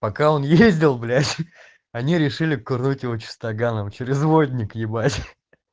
пока он ездил блять они решили курнуть его чистоганом через водник ебать